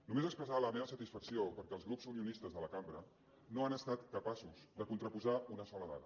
només expressar la meva satisfacció perquè els grups unionistes de la cambra no han estat capaços de contraposar una sola dada